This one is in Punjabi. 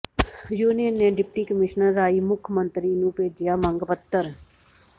ਯੂਨੀਅਨ ਨੇ ਡਿਪਟੀ ਕਮਿਸ਼ਨਰ ਰਾਹੀਂ ਮੁੱਖ ਮੰਤਰੀ ਨੂੰ ਭੇਜਿਆ ਮੰਗ ਪੱਤਰ